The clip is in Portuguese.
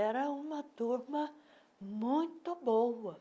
Era uma turma muito boa.